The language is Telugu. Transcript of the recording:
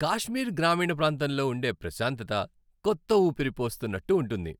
కాశ్మీర్ గ్రామీణ ప్రాంతంలో ఉండే ప్రశాంతత కొత్త ఊపిరి పోస్తున్నట్టు ఉంటుంది.